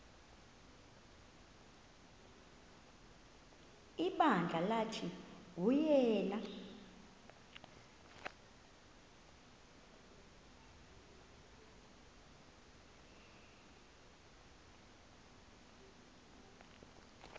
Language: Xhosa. ibandla lathi nguyena